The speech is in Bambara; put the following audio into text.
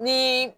Ni